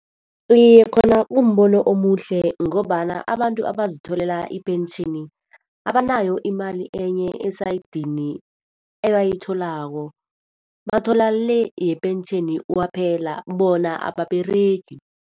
Iye, khona kumbono omuhle ngombana abantu abazitholela ipentjheni, abanayo imali enye esayidini ebayitholako. Bathola le yepentjheni kwaphela, bona ababeregi.